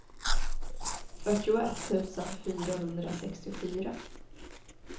fyrtioett tusen fyrahundrasextiofyra